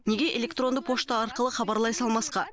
неге электронды пошта арқылы хабарлай салмасқа